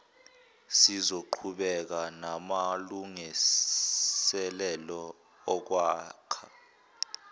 sizoqhubeka namalungiselelo okwakha